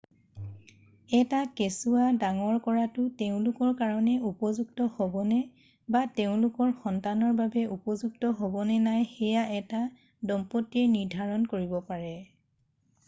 এটা কেচুৱা ডাঙৰ কৰাটো তেওঁলোকৰ কাৰণে উপযুক্ত হ'বনে বা তেওঁলোকৰ সন্তানৰ বাবে উপযুক্ত হ'বনে নাই সেয়া এটা দম্পতীয়ে নিৰ্ধাৰণ কৰিব পাৰে